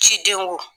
Ciden wo